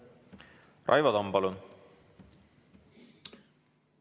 Raivo Tamm, palun!